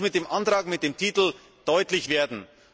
Das muss mit dem Antrag und in seinem Titel deutlich werden.